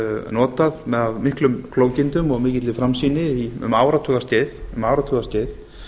notað af miklum klókindum og mikilli framsýni um áratugaskeið